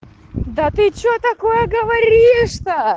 да ты что такое говоришь то